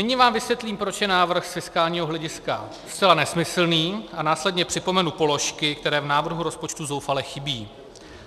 Nyní vám vysvětlím, proč je návrh z fiskálního hlediska zcela nesmyslný, a následně připomenu položky, které v návrhu rozpočtu zoufale chybí